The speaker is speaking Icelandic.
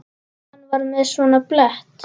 Hann var með svona blett.